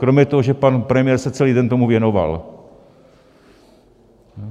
Kromě toho, že pan premiér se celý den tomu věnoval.